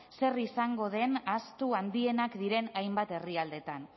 zer izango den ahaztu handienak diren hainbat herrialdetan